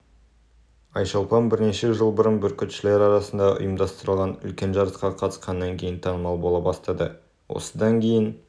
айшолпан бірнеше жыл бұрын бүркітшілер арасында ұйымдастырылған үлкен жарысқа қатысқаннан кейін танымал бола бастады осыдан кейін